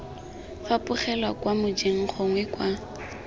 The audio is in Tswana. fapogelwa kwa mojeng gongwe kwa